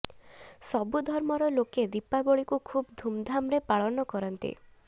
ସବୁ ଧର୍ମର ଲୋକେ ଦୀପାବଳିକୁ ଖୁବ୍ ଧୁମ୍ଧାମ୍ରେ ପାଳନ କରନ୍ତି